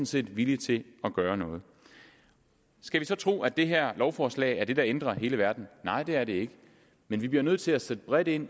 set villige til at gøre noget skal vi så tro at det her lovforslag er det der ændrer hele verden nej det er det ikke men vi bliver nødt til at sætte bredt ind